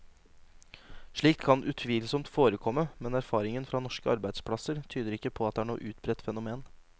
Slikt kan utvilsomt forekomme, men erfaringen fra norske arbeidsplasser tyder ikke på at det er noe utbredt fenomen.